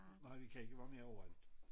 Nej vi kan ikke være med overalt